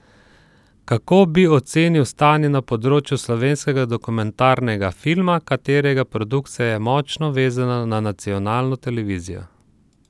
Kako bi ocenil stanje na področju slovenskega dokumentarnega filma, katerega produkcija je močno vezana na nacionalno televizijo?